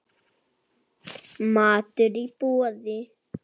Matur í boði.